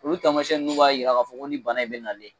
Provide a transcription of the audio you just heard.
Olu tamasɛn nunnu b'a yira k'a fɔ ko nin bana in be nalen